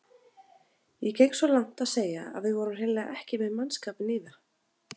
Ég geng svo langt að segja að við vorum hreinlega ekki með mannskapinn í það.